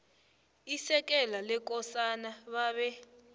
isekela lekosana babe